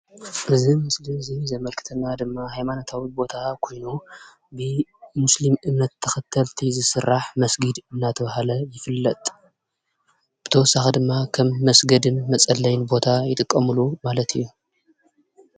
እዚ ምስሊ እዚ ዘምልክተና ድማ ሃይማኖታዊ ቦታ ኮይኑ ንእምነት ሙስሊም ተኸተልቲ ዝስራሕ መስጊድ እናተባሃለ ይፍለጥ ብተወሳኺ ድማ ከም መስገድን መፀለይን ቦታ ይጥቀምሉ ማለት እዩ።